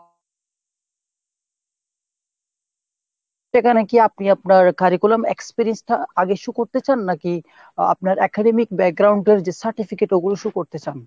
সেখানে কি আপনি আপনার curriculum experience টা আগে show করতে চান নাকি আপনার academic টার যে certificate ওগুলো show করতে চান ?